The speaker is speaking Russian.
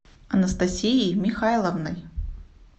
анастасией михайловной